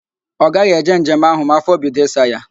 Ọ gaghị eje njem ahụ ma afọ bido ịsa ya